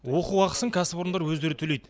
оқу ақысын кәсіпорындар өздері төлейді